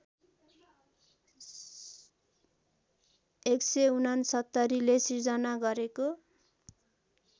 १६९ले सृजना गरेको